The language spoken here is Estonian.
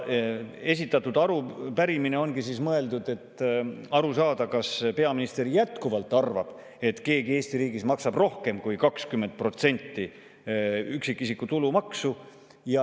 Esitatud arupärimine ongi mõeldud selleks, et aru saada, kas peaminister jätkuvalt arvab, et keegi Eesti riigis maksab rohkem kui 20% üksikisiku tulumaksu.